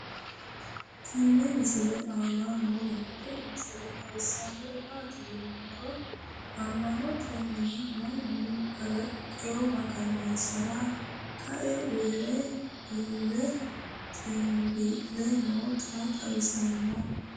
tenne misile aana noorina tini misile xawissannori maati yinummoro ama'notte mine mannu kaliiqa magansirranni kae uure ille xinbii'le nootta xawissanno